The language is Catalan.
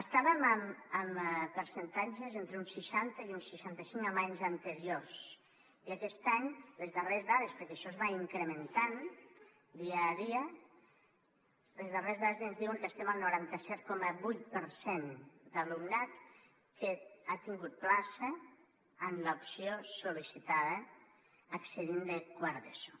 estàvem en percentatges entre un seixanta i un seixanta cinc en anys anteriors i aquest any perquè això es va incrementant dia a dia les darreres dades ens diuen que estem al noranta set coma vuit per cent d’alumnat que ha tingut plaça en l’opció sol·licitada accedint hi des de quart d’eso